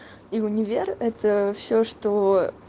и в универ это все что